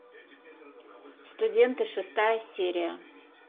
студенты шестая серия